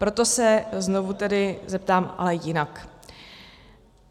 Proto se znovu tedy zeptám, ale jinak.